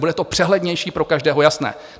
Bude to přehlednější, pro každého jasné.